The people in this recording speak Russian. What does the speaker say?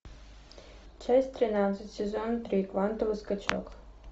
часть тринадцать сезон три квантовый скачок